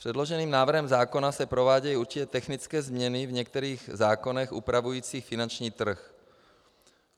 Předloženým návrhem zákona se provádějí určité technické změny v některých zákonech upravujících finanční trh.